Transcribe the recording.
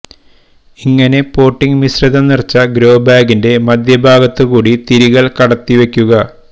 ഇങ്ങനെ പോട്ടിങ്ങ് മിശ്രിതം നിറച്ച ഗ്രോബാഗിന്റെ മദ്ധ്യഭാഗത്തുകൂടി തിരികള് കടത്തി വെക്കുക